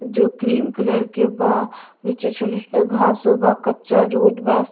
जो cream colour के बा नीचे छोटे छोटे घासो बा कच्चा रोड बा --